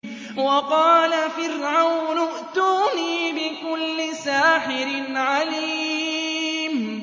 وَقَالَ فِرْعَوْنُ ائْتُونِي بِكُلِّ سَاحِرٍ عَلِيمٍ